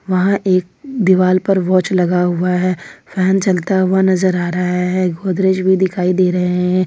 वहां एक दीवाल पर वॉच लगा हुआ है फैन चलता हुआ नजर आ रहा है गोदरेज भी दिखाई दे रहे हैं।